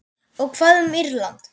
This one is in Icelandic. Og hvað um Írland?